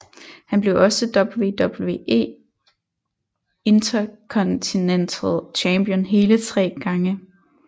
Han blev også WWE Intercontinental Champion hele tre gange